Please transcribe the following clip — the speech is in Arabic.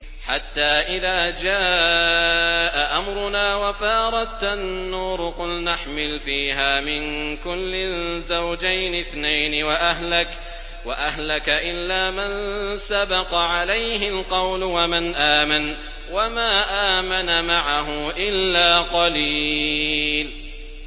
حَتَّىٰ إِذَا جَاءَ أَمْرُنَا وَفَارَ التَّنُّورُ قُلْنَا احْمِلْ فِيهَا مِن كُلٍّ زَوْجَيْنِ اثْنَيْنِ وَأَهْلَكَ إِلَّا مَن سَبَقَ عَلَيْهِ الْقَوْلُ وَمَنْ آمَنَ ۚ وَمَا آمَنَ مَعَهُ إِلَّا قَلِيلٌ